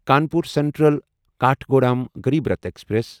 Kanpur central Kathgodam Garib Rath express